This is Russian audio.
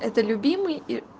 это любимый и